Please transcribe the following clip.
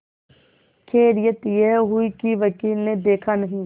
खैरियत यह हुई कि वकील ने देखा नहीं